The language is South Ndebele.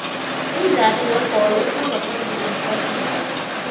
umdlalo webholo ukhamba phambili iphasi mazombe